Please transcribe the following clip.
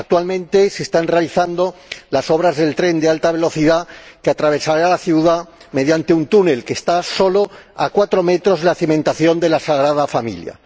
Actualmente se están realizando las obras del tren de alta velocidad, que atravesará la ciudad mediante un túnel que está a solo cuatro metros de la cimentación de la Sagrada Familia